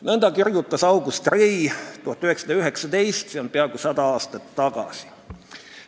" Nõnda rääkis August Rei aastal 1919, see on peaaegu sada aastat tagasi.